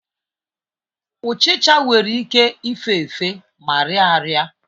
Uchicha nwere ike ịfefe ma riaaraị.